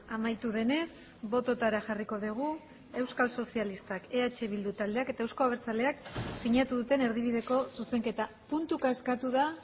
amaitu denez bototara jarriko dugu euskal sozialistak eh bildu taldeak eta euzko abertzaleak sinatu duten erdibideko zuzenketa puntuka eskatu da